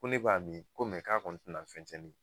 Ko ne b'a mi ko mɛ k'a kɔni te na fɛn cɛn ne ye